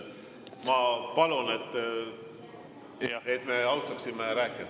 Ma palun, et me austaksime rääkijat.